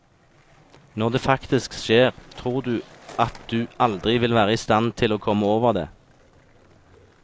Når det faktisk skjer, tror du at du aldri vil være i stand til å komme over det.